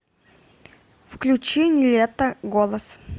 включи нилетто голос